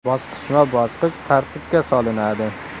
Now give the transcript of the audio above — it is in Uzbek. Bosqichma-bosqich tartibga solinadi.